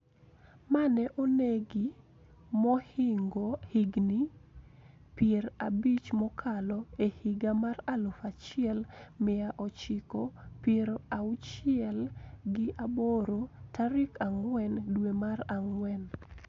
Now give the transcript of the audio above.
Ma ne onegi mohingo higni pier abich mokalo e higa mar aluf achiel mia ochiko pier auchiel gi aboro tarik ang`wen dwe mar ang`wen